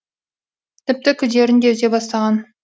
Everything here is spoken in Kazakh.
тіпті күдерін де үзе бастаған